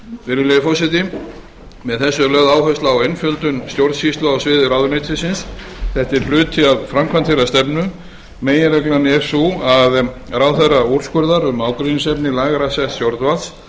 virðulegi forseti með þessu er lögð áherslu á einföldun stjórnsýslu á sviði ráðuneytisins þetta er hluti af framkvæmd þeirrar stefnu meginreglan er sú að ráðherra úrskurðar um ágreiningsefni lægra setts stjórnvalds